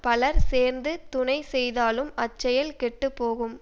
பலர் சேர்ந்து துணை செய்தாலும் அச்செயல் கெட்டு போகும்